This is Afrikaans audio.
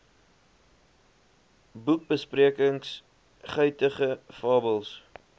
boekbesprekings guitige fabels